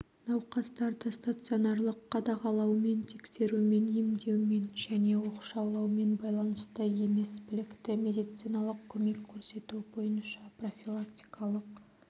науқастарды стационарлық қадағалаумен тексерумен емдеумен және оқшаулаумен байланысты емес білікті медициналық көмек көрсету бойынша профилактикалық